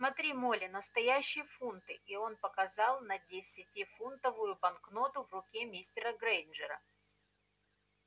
смотри молли настоящие фунты и он показал на десятифунтовую банкноту в руке мистера грэйнджера